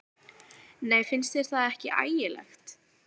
Nei, finnst þér þetta ekki ægilegt?